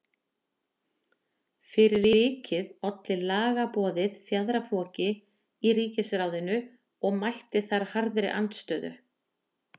Fyrir vikið olli lagaboðið fjaðrafoki í ríkisráðinu og mætti þar harðri andstöðu.